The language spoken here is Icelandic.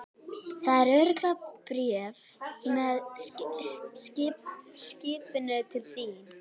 Það verður örugglega bréf með skipinu til þín.